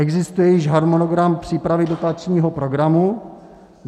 Existuje již harmonogram přípravy dotačního programu?